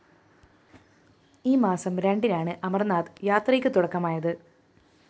ഈ മാസം രണ്ടിനാണ് അമര്‍നാഥ് യാത്രയ്ക്ക് തുടക്കമായത്